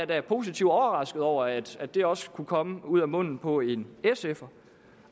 da positivt overrasket over at det også kunne komme ud af munden på en sfer